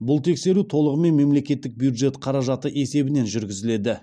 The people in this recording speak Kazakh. бұл тексеру толығымен мемлекеттік бюджет қаражаты есебінен жүргізіледі